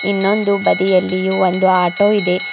ಇನ್ನೊಂದು ಬದಿಯಲ್ಲಿ ಒಂದು ಆಟೋ ಇದೆ.